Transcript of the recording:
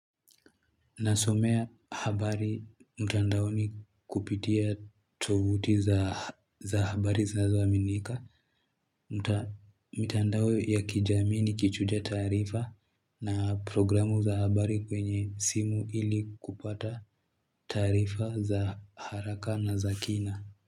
Nasomea habari mtandaoni kupitia tovuti za habari zinazoaminika. Mitandao ya kijamii ni kichuja tarifa na programu za habari kwenye simu ili kupata tarifa za haraka na za kina.